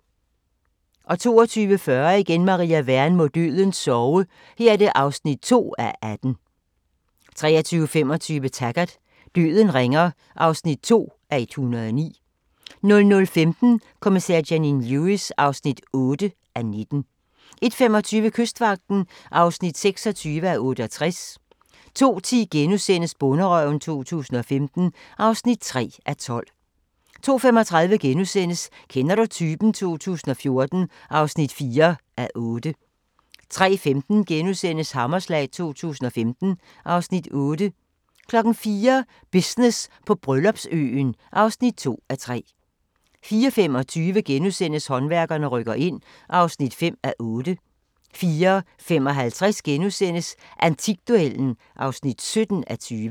22:40: Maria Wern: Må døden sove (2:18) 23:25: Taggart: Døden ringer (2:109) 00:15: Kommissær Janine Lewis (8:19) 01:25: Kystvagten (26:68) 02:10: Bonderøven 2015 (3:12)* 02:35: Kender du typen? 2014 (4:8)* 03:15: Hammerslag 2015 (Afs. 8)* 04:00: Business på Bryllupsøen (2:3) 04:25: Håndværkerne rykker ind (5:8)* 04:55: Antikduellen (17:20)*